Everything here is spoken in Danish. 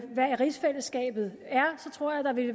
hvad rigsfællesskabet